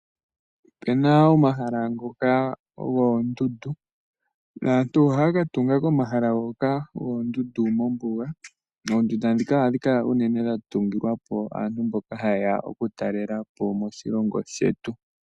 Ope na omahala ngoka goondundu. Aantu ohaya ka tunga komahala ngoka goondundu mombuga. Oondunda dhika ohadhi kala unene dha tungilwa po aantu mboka jaye ya okutalelapo moshilongo shetu.